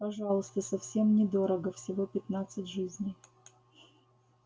пожалуйста совсем недорого всего пятнадцать жизней